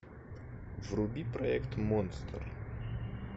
вруби проект монстр